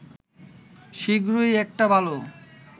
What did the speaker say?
শিগগিরই একটা ভালো